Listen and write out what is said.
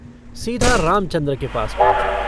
सीधा रामचन्द्र के पास पँहुचा।